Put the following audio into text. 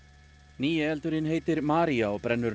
nýi eldurinn heitir Maria og brennur